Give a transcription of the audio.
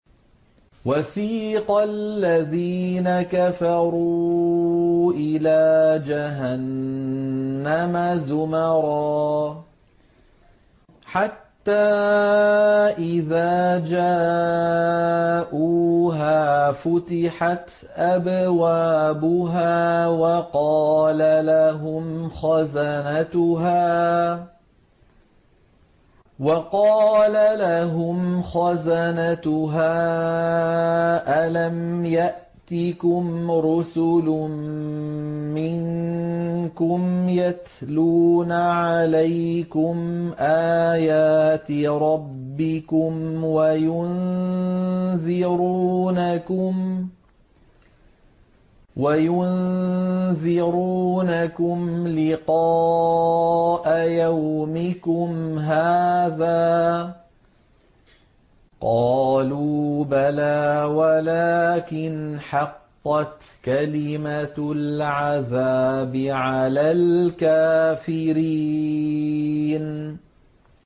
وَسِيقَ الَّذِينَ كَفَرُوا إِلَىٰ جَهَنَّمَ زُمَرًا ۖ حَتَّىٰ إِذَا جَاءُوهَا فُتِحَتْ أَبْوَابُهَا وَقَالَ لَهُمْ خَزَنَتُهَا أَلَمْ يَأْتِكُمْ رُسُلٌ مِّنكُمْ يَتْلُونَ عَلَيْكُمْ آيَاتِ رَبِّكُمْ وَيُنذِرُونَكُمْ لِقَاءَ يَوْمِكُمْ هَٰذَا ۚ قَالُوا بَلَىٰ وَلَٰكِنْ حَقَّتْ كَلِمَةُ الْعَذَابِ عَلَى الْكَافِرِينَ